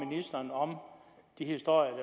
ministeren om de historier